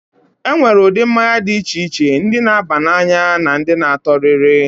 E nwere ụdị mmanya dị iche iche: ndị na-aba n'anya na ndị na-atọ rịrị.